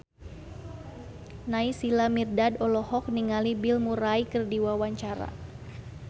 Naysila Mirdad olohok ningali Bill Murray keur diwawancara